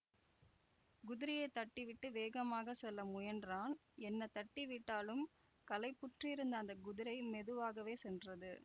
குதிரையை தட்டிவிட்டு வேகமாக செல்ல முயன்றான் என்ன தட்டி விட்டாலும் களைப்புற்றிருந்த அந்த குதிரை மெதுவாகவே சென்றது